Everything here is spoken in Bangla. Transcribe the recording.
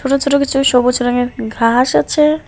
ছোট ছোট কিছু সবুজ রঙের ঘাস আছে।